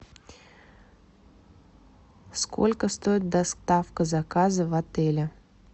сколько стоит доставка заказа в отеле